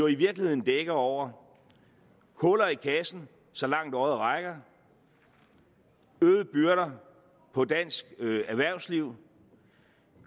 i virkeligheden dækker over huller i kassen så langt øjet rækker øgede byrder på dansk erhvervsliv